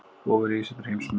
Ofurhugi setur heimsmet